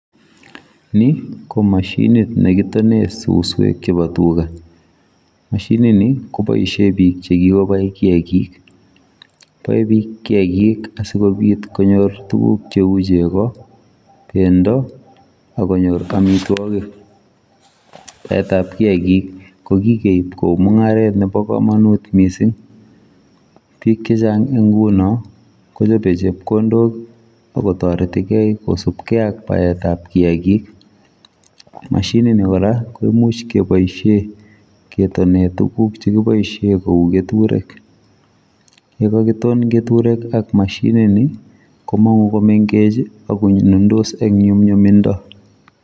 Ni ko mashiniit nekitonen susweek chebo tugaa, mashiniit ni kobaisheen biik che kikobai kiagik, bae biik kiagik asikobiit konyoor tuguk che uu chegoo bendo ak konyoor amitwagiik, baet ab kiagik ko kikeib kouu mungaret nebo kamanut missing, biik che chaang en ngunoon kochape chepkondook ako taretii kei kosupkei ak baaet ab kiagik, mashiniit ni kora koimuuch kebaisheen ketonen kebaisheen tuguuk che uu ketureek ye kakitoon ketureek ak mashiniit ni ko manguu ko mengeech ii ak ko nundos eng nyumnyum mindo.